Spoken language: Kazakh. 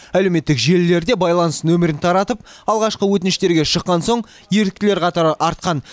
әлеуметтік желілерде байланыс нөмірін таратып алғашқы өтініштерге шыққан соң еріктілер қатары артқан